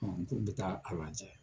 Ɔn k'u be taa a lajɛ.